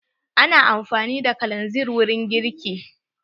Ana amfani da kalanzir wurin girki.